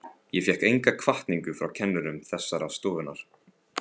Ég fékk enga hvatningu frá kennurum þessarar stofnunar.